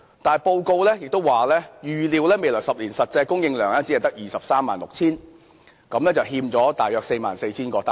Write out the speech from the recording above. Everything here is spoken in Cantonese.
但報告指出，預料未來10年的公營房屋實際供應量只得 236,000 個，欠了大約 44,000 個單位。